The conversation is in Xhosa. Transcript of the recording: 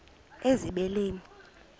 ezibeleni